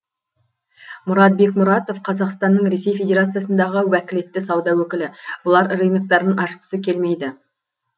мұрат бекмұратов қазақстанның ресей федерациясындағы уәкілетті сауда өкілі бұлар рыноктарын ашқысы келмейді